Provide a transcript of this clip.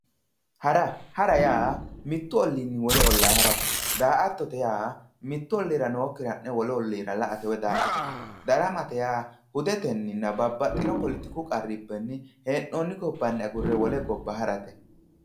Hara, hara yaa mitu ollinni wole olla harate, daa"atto yaa mitu ollira nookkire wolu ollira la"ate woyi daa"atate ,daramate yaa hudeteninna babbaxxino poletiku qarrubbanni hee'nonni gobbanni agurre wole gobba harate.